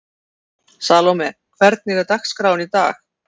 Salome, hvernig er dagskráin í dag?